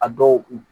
A dɔw